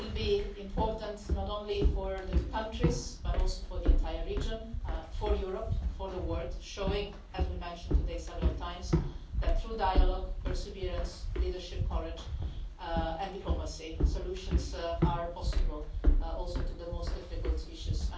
will be important not only for the two countries, but also for the entire region, for Europe and for the world, showing as we have mentioned several times today that through dialogue, perseverance, leadership, courage and diplomacy, solutions are possible, including to the most difficult issues.